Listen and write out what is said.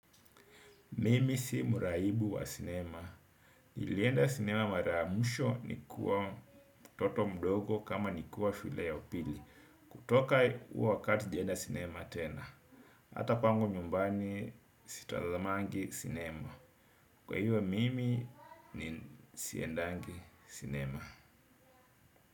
Mimi si muraibu wa sinema nilienda sinema mara muisho ni kuwa mtoto mdogo kama ni kuwa shule yu upili. Kutoka uo wakati sijenda sinema tena. Hata kwangu nyumbani sitazamangi sinema. Kwa hiyo mimi ni siendangi sinema.